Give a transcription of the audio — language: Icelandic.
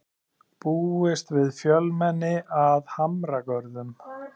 Búist við fjölmenni að Hamragörðum